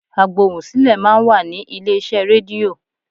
Agbohùnsílẹ̀ máa ń wà ní ilé iṣẹ́ rédíò.